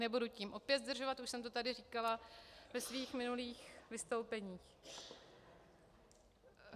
Nebudu tím opět zdržovat, už jsem to tady říkala ve svých minulých vystoupeních.